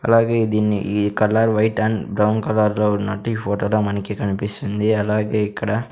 అలాగే దీన్ని ఈ colour white and brown colour లో ఉన్నట్టు ఈ ఫోటో లో మనకి కనిపిస్తుంది అలాగే ఇక్కడ --